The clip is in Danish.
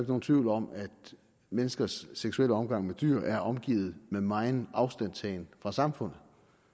nogen tvivl om at menneskers seksuelle omgang med dyr er omgivet med megen afstandtagen fra samfundet